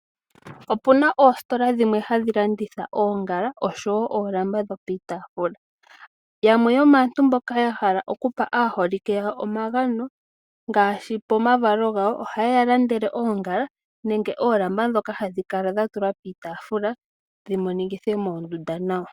Opuna oositola dhimwe hadhi landitha oongala osho wo oolamba dho piitafula. Yamwe yomaantu mboka ya hala okupa aaholike yawo omagano, ngaashi pomavalo gawo, oha yeya landele oongala nenge oolamba ndhoka hadhi kala dha tulwa piitaafula dhi monikithe moondunda nawa.